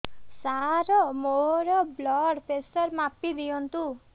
ସାର ମୋର blood pressure ମାପି ଦିଅନ୍ତୁ